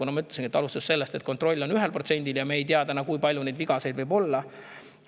Nagu ma ütlesin, kontrollitakse 1% ja me ei tea, kui palju neid võib olla.